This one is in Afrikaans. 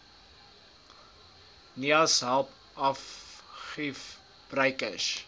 naais help argiefgebruikers